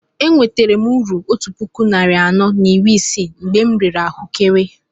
E nweretara uru otú puku narị anọ na iri isii mgbe m rere ahuekere